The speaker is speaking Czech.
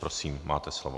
Prosím, máte slovo.